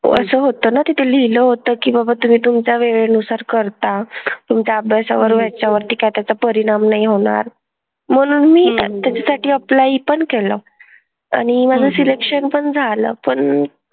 असं होतं ना? तिथे लिहिलं होतं की बाबा तुम्ही तुमच्या वेळेनुसार करा. तुमच्या अभ्यासावरती ह्याच्यावरती काय त्याचा परिणाम नाही होणार. म्हणून मी त्याच्यासाठी apply पण केलं. आणि मला selection पण झालं. पण,